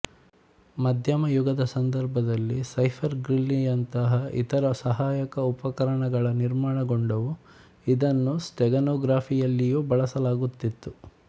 ಮಧ್ಯಯುಗದ ಸಂದರ್ಭದಲ್ಲಿ ಸೈಫರ್ ಗ್ರಿಲ್ಲಿಯಂತಹ ಇತರ ಸಹಾಯಕ ಉಪಕರಣಗಳ ನಿರ್ಮಾಣಗೊಂಡವು ಇದನ್ನು ಸ್ಟೆಗನೊಗ್ರಫಿಯಲ್ಲಿಯೂ ಬಳಸಲಾಗುತ್ತಿತ್ತು